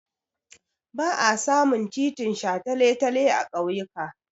Ba a samun titin shataletale a ƙauyuka.